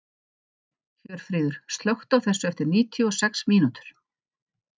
Hjörfríður, slökktu á þessu eftir níutíu og sex mínútur.